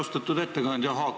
Austatud ettekandja!